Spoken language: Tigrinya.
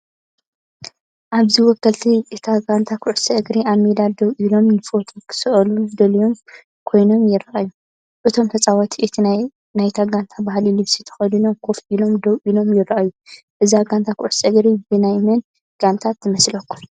ኣብዚ ወከልቲ እታ ጋንታ ኩዕሶ እግሪ፡ ኣብ ሜዳ ደው ኢሎምን፡ንፎቶ ክስእሉ ድሉዋት ኮይኖም ይረኣዩ። እቶም ተጻወትቲ፡ እቲ ናይታ ጋንታ ባህላዊ ልብሲ ተኸዲኖም ኮፍ ኢሎም ደው ኢሎም ይረኣዩ። እዛ ጋንታ ኩዕሶ እግሪ ኣብ ናይ መን ጋንታ ትመስለኩም?